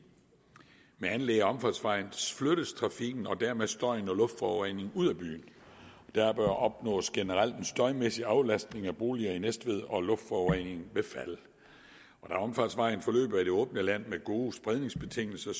med anlæg af omfartsvejen flyttes trafikken og dermed støjen og luftforureningen ud af byen der opnås generelt en støjmæssig aflastning af boliger i næstved og luftforureningen vil falde da omfartsvejen løber i det åbne land med gode spredningsbetingelser